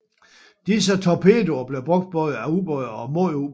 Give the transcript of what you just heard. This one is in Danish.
Disse torpedoer blev brugt både af ubåde og mod ubåde